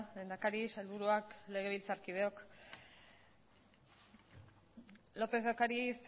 lehendakari sailburuak legebiltzarkideok lópez de ocariz